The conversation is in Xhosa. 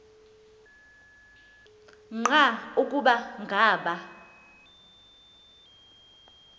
nqa ukuba ngaba